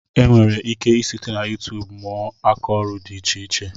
E nwere ike I site na YuuTub mụọ akaọrụ dị iche iche.